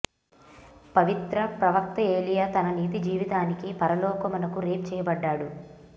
పవిత్ర ప్రవక్త ఏలీయా తన నీతి జీవితానికి పరలోకమునకు రేప్ చేయబడ్డాడు